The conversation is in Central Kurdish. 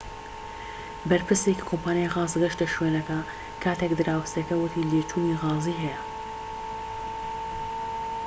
بەرپرسێکی کۆمپانیای غاز گەشتە شوێنەکە کاتێك دراوسێیەک وتی لێچوونی غازی هەیە